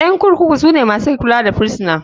Ƴan kurkuku sune masu kula da firisuna.